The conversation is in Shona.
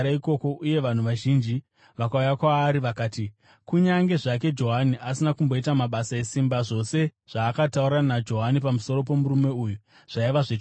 uye vanhu vazhinji vakauya kwaari. Vakati, “Kunyange zvake Johani asina kumboita mabasa esimba, zvose zvakataurwa naJohani pamusoro pomurume uyu zvaiva zvechokwadi.”